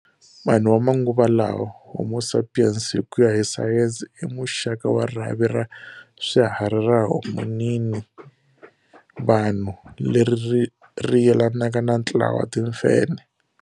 Vanhu vamanguva lawa, "Homo sapiens", hikuya hi Sayensi imuxaka wa rhavi ra swiharhi ra Hominina, Vanhu, leri riyelanaka na ntlawa wa timfenhe.